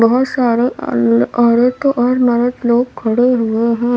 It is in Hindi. बहुत सारे अल औरत और मरद लोग खड़े हुए हैं।